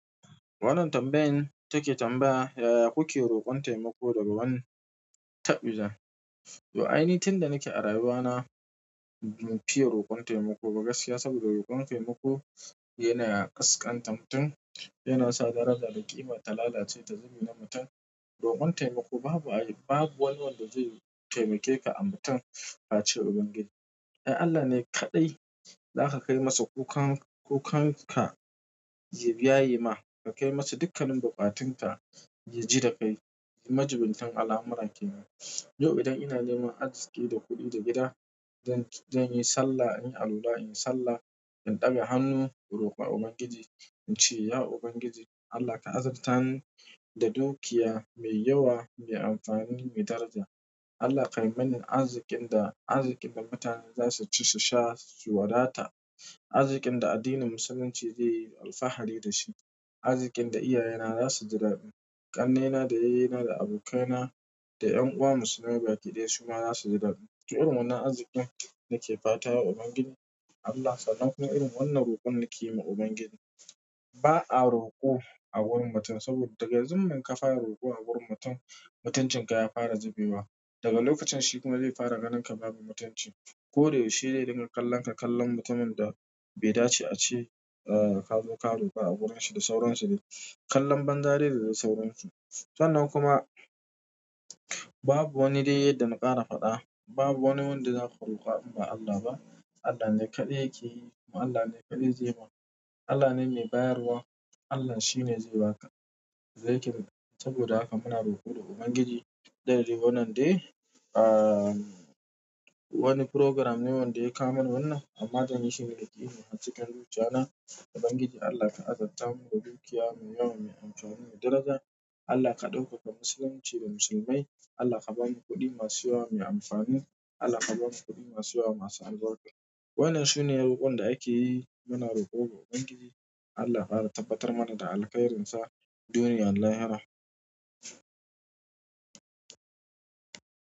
Wannan tambayan take tambaya, yaya kuke rokon taimako daga wani taɓdijan. To ai ni tunda nake a rayuwa na, ba mu fiye rokon taimako ba gaskiya saboda rokon taimako yana kaskanta mutum, yana sa daraja da ƙima ta lalace ta zube ma mutum. Rokon taimako babu wanda zai taimake ka a mutun face Ubangiji. Ai Allah ne kaɗai zaka kai masa kukan ka ya biya yi ma. Ka kai masa dukkanin buƙatun ka ya ji da kai. Majubintan alhamura ke nan. Yau idan ina neman aziki da kuɗi da gida, zan yi sallah, in yi alwala in yi sallah, in ɗaga hannu in roƙa Ubangiji in ce, ya Ubangiji Allah ka azartani ni da dukiya mai yawa, mai amfani mai daraja. Allah kai mani azikin da, azikin da mutane za su ci su sha su wadata. Azikin da addinin musulunci zai yi alfahari da shi. Azikin da iyaye na za su ji daɗi. Ƙannena da yayye na da abokaina da ƴan uwa musulmai bakidaya su ma za su ji daɗi. To irin wannan azikin nake fata Ubangiji. Allah sannan kuma irin wannan roƙon nake yi wa Ubangiji. Ba a roƙo a wurin mutum saboda daga zumun ka fara roƙo a wurin mutum, mutuncin ka ya fara zubewa. Daga lokacin shi kuma zai fara ganin ka babu mutunci. Ko da yaushe zai dinga kallonka kallon mutumin da bai dace a ce ka zo ka roƙo a wurin shi da saurayin shi dai. Kallon banza dai da sauran su. Sannan kuma babu wani dai yadda na ƙara faɗa. Babu wani wanda zan roka in ba Allah ba. Allah ne kaɗai yake yi. Allah ne kaɗai zai mun. Allah ne mai bayarwa. Allah shi ne zai ba ka. Zai kira. Saboda haka muna roƙo da Ubangiji. Da dai wannan dai wani program ne wanda ya kawo mani wannan. Amma zan yi shi da yakini har cikin zuciya na. Ubangiji Allah ka azarta mu da dukiya mai yawa, mai amfani mai daraja. Allah ka ɗaukaka musulunci da musulmai. Allah ka bamu kuɗi masu yawa mai amfani. Allah ka bamu kuɗi masu yawa masu arbarka. Waɗannan sune roƙon da ake yi. Muna roƙo ga Ubangiji Allah ya ƙara tabbatar mana da alkhairin sa duniya. Da lahira.